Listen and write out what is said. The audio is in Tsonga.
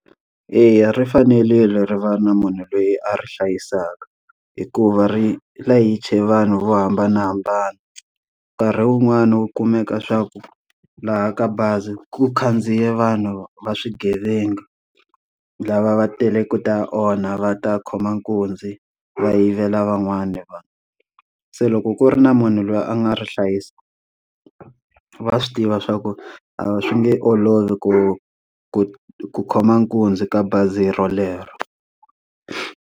Eya ri fanerile ri va ri na munhu loyi a ri hlayisaka hikuva ri layiche vanhu vo hambanahambana. Nkarhi wun'wani wu kumeka swa ku laha ka bazi ku khandziya vanhu va swigevenga, lava va tele ku ta onha va ta khoma nkunzi va yivela van'wana vanhu. Se loko ku ri na munhu loyi a nga ri hlayisa. va swi tiva swa ku a swi nge olovi ku ku ku khoma nkunzi ka bazi rolero.